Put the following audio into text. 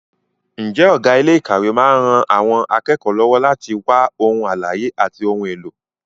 Ǹjẹ́ ọ̀gá ilé ìkàwé máa ń ran àwọn akẹ́kọ̀ọ́ lọ́wọ́ láti wá ohun àlàyé àti ohun èlò?